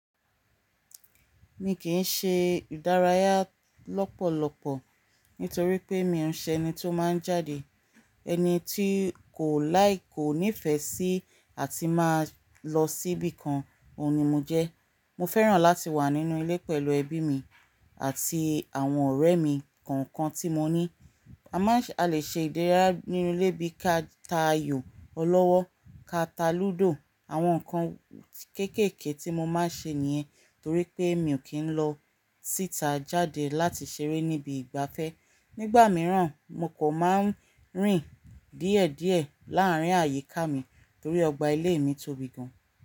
Mi kì í ṣe ìdárayá lọ́pọ̀lọpọ̀ nítorí pé mi ò ṣe ẹni tó máa ń jáde. Ẹni tí kò láì kò nífẹ̀ẹ́ sí àti máa lọ sí ibìkan, òun ni mo jẹ́. Mo fẹ́ràn láti wà nínú ilé pẹ̀lú ẹbí mi àti àwọn ọ̀rẹ́ mi kan kan tí mo ní. A máa lè ṣe ìdárayá nínú ilé bí ka ta ayò, ọlọ́wọ́, ka ta lúdò. Àwọn nǹkan kéékèèké tí mo máa ń ṣe nìyẹn torí pé mi ò kí ń lọ síta jáde láti ṣeré níbi ìgbafẹ́. Nígbà mìíràn mo kò máa ń rìn díẹ̀ díẹ̀ láàárín àyíká mi torí ọgbà ilé mi tóbi gan.